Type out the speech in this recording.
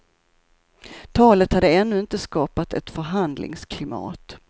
Talet hade ännu inte skapat ett förhandlingsklimat.